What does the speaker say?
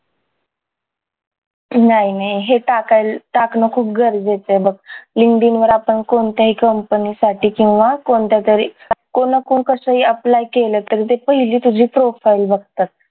नाय नाय हे टाकाय हे टाकणं खूप गरजेचंय बघ linkedin वर आपण कोणत्याहीकंपनी साठी किंवा कोणत्या तरी कोण ना कोण कसंही apply केलं तर ते पहिली तुझी profile बघतात